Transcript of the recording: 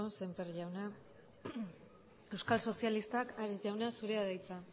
sémper jauna euskal sozialistak ares jauna zurea da hitza